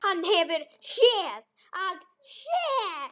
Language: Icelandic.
Hann hefur SÉÐ AÐ SÉR.